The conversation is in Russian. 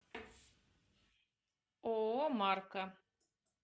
ооо марка